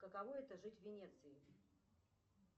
каково это жить в венеции